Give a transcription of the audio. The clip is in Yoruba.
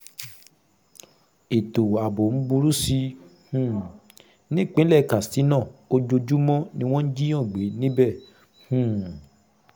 ètò ààbò ń burú sí i um nípínlẹ̀ katsina ojoojúmọ́ ni wọ́n ń jiyàn gbé níbẹ̀ um